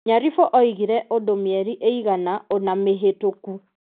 Nyaribo oigire ũndũ mĩeri ĩigana ũna mĩhĩtũku.